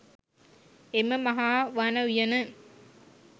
එම මහා වන උයන